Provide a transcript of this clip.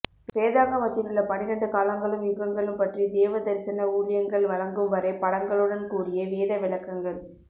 வேதாகமத்திலுள்ள பன்னிரண்டு காலங்களும் யுகங்களும் பற்றி தேவ தரிசன ஊழியங்கள் வழங்கும் வரை படங்களுடன் கூடிய வேத விளக்கங்கள்